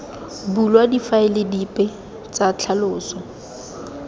bulwa difaele dipe tsa ditlhaloso